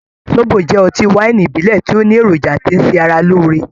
Zóbo jẹ́ ọtí wáìnì ìbílẹ̀ tí ó ní èròjà tí ń ṣe ara lóore.